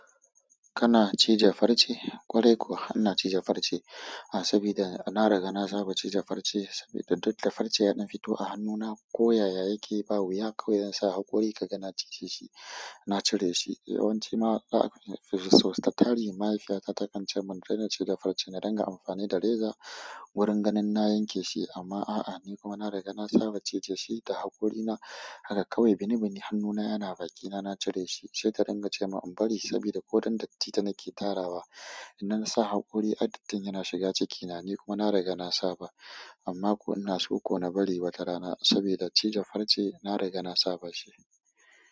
Kana cije farce? Ƙwarai kuwa, ina cije farce sabida na riga na saba cije farce sabida duk da farce yanayin fito a hannuna, koya ya yake ba wuya kawai idan zan saa haƙuri ka ga na cije shi, na cire shi. Yawanci ma a sosai, tattali mahaifiyata ta kan ce mun daina cije farce na dinga amfani da reza wurin gani na yanke shi amma a'a, ni kuma na riga na saba cije shi da haƙorina. Haka kawai binibini hannuna yana bakina, na cire shi sai ta ringa ce ma in bari sabida ko danda ita na ke tarawa. Ina sa haƙori, addakin yana shiga cikina ni kuma na riga na saba amma kuna so ko na bari wata rana saboda cije farce, na riga na saba shi.